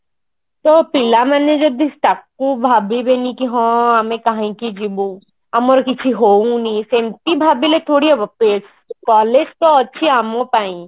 ତ ପିଲାମାନେ ଯଦି ତାକୁ ଭାବିବେନି କି ହଁ ଆମେ କାହିଁକି ଯିବୁ ଆମର କିଛି ହଉନି ସେନ୍ତି ଭାବିଲେ ଥୋଡି ହବ collage ତ ଅଛି ଆମ ପାଇଁ